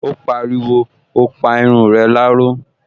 Ó pariwo, "O pa irun rẹ láró"